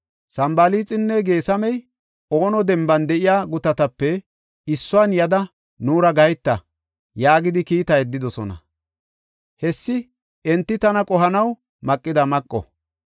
Sanbalaaxinne Geesamey, “Ono Demban de7iya gutatape issuwan yada nuura gaheta” yaagidi kiita yeddidosona. Hessi enti tana qohanaw maqida maqo.